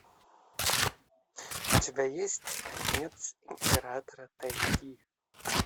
у тебя есть конец императора тайги